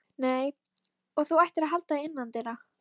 Nei, og þú ættir að halda þig innandyra.